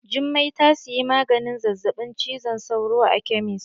Jummai ta siyi maganin zazzaɓin cizon sauro a kemis.